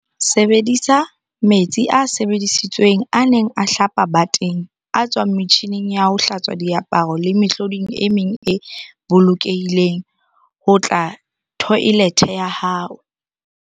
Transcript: Sebedisa metsi a sebedisitsweng a neng a hlapa bateng, a tswang metjhining ya ho hlatswa diaparo le mehloding e meng e bolokehileng ho otla thoelethe ya hao.